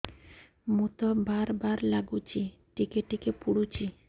ମୁତ ବାର୍ ବାର୍ ଲାଗୁଚି ଟିକେ ଟିକେ ପୁଡୁଚି